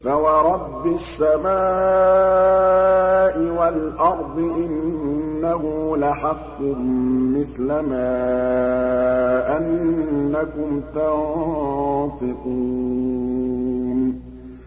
فَوَرَبِّ السَّمَاءِ وَالْأَرْضِ إِنَّهُ لَحَقٌّ مِّثْلَ مَا أَنَّكُمْ تَنطِقُونَ